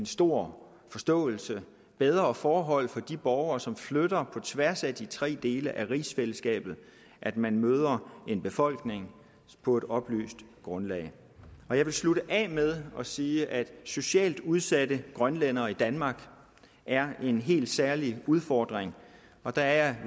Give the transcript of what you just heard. stor forståelse og bedre forhold for de borgere som flytter på tværs af de tre dele af rigsfællesskabet at man møder en befolkning på et oplyst grundlag jeg vil slutte af med at sige at socialt udsatte grønlændere i danmark er en helt særlig udfordring og der er